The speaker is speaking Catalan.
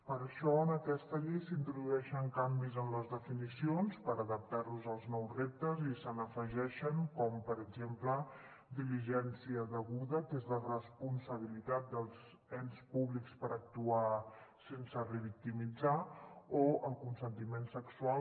per això en aquesta llei s’introdueixen canvis en les definicions per adaptar los als nous reptes i se n’hi afegeixen com per exemple diligència deguda que és la responsabilitat dels ens públics per actuar sense revictimitzar o el consentiment sexual